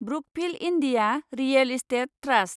Brookfield India real estate trust